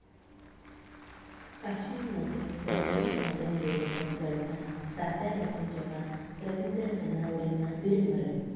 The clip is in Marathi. काश्मीरमध्ये दहशतवाद्यांविरोधात लढताना साताऱ्याचे जवान रवींद्र धनावडेंना वीरमरण